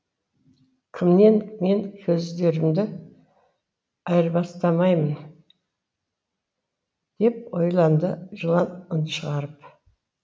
кіммен мен көздерімді айырбастамаймын деп ойланды жылан үн шығарып